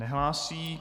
Nehlásí.